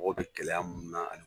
Mɔgɔ bɛ gɛlɛya mun na.